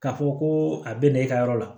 K'a fɔ ko a bɛ na e ka yɔrɔ la